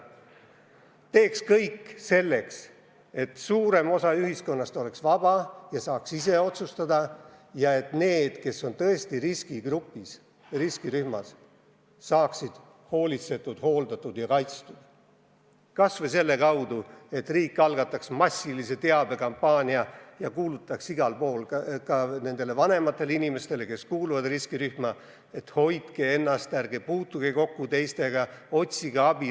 Võiksime teha kõik selleks, et suurem osa ühiskonnast oleks vaba ja saaks ise otsustada ning et need, kes tõesti on riskigrupis, riskirühmas, saaksid hoolitsetud, hooldatud ja kaitstud – kas või selle kaudu, et riik algataks massilise teabekampaania ja kuulutaks igal pool riskirühma kuuluvatele vanematele inimestele, et hoidke ennast, ärge puutuge kokku teistega, otsige abi.